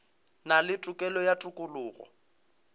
na le tokelo ya tokologo